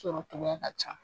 Sɔrɔ togoya ka can.